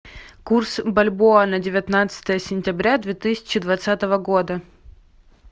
курс бальбоа на девятнадцатое сентября две тысячи двадцатого года